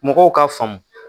Mɔgɔw k'a faamu